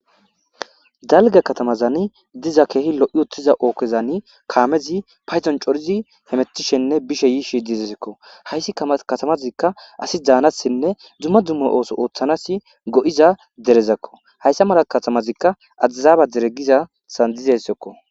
Dalgga katamazan diza keehi lo'i uttida ogezan kaamezi paydon coridi hemetishenne bishenne yishe deessikko. Hayssi katamazi asi daanasinne dumma dumma ooso ooththanas go'iza derezakko. Hayssa mala katamazikka addisaba dere gizayssazan dizayssazakko.